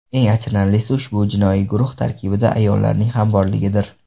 Eng achinarlisi ushbu jinoiy guruh tarkibida ayollarning ham borligidir.